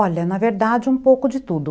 Olha, na verdade, um pouco de tudo.